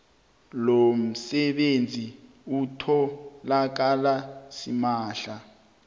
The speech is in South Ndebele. lomsebenzi utholakala simahla